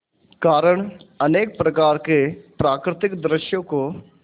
कारण अनेक प्रकार के प्राकृतिक दृश्यों को